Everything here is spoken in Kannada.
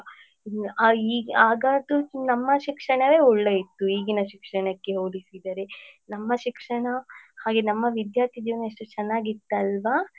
ಆ ಆಗದ್ದು ನಮ್ಮ ಶಿಕ್ಷಣವೇ ಒಳ್ಳೆ ಇತ್ತು ಈಗಿನ ಶಿಕ್ಷಣಕ್ಕೆ ಹೋಲಿಸಿದರೆ ನಮ್ಮ ಶಿಕ್ಷಣ ಹಾಗೆ ನಮ್ಮ ವಿದ್ಯಾರ್ಥಿ ಜೀವನ ಎಷ್ಟು ಚನ್ನಾಗಿತಲ್ವಾ.